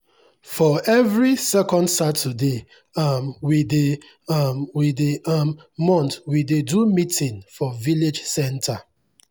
for every second saturday um wey dey um wey dey um month we dey do meeting for village center.